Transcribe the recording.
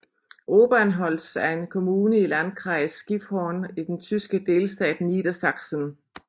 Obernholz er en kommune i Landkreis Gifhorn i den tyske delstat Niedersachsen